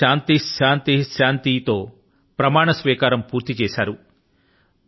ohm శాంతి శాంతి శాంతి తో ప్రమాణ స్వీకారం పూర్తి చేశారు